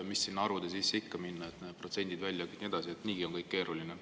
Mis sinna arvude sisse ikka minna, need protsendid ja nii edasi, niigi on kõik keeruline.